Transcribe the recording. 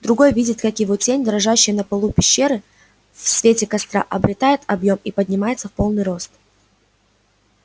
другой видит как его тень дрожащая на полу пещеры в свете костра обретает объём и поднимается в полный рост